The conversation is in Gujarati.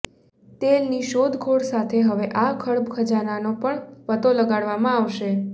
તેલની શોધખોળ સાથે હવે આ જળખજાનાનો પણ પતો લગાડવામાં આાવશે